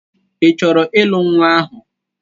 I chọrọ ịlụ nnwa ahụ?